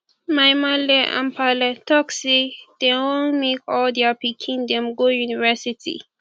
my maale and paale talk say dey wan make all their pikin dem go university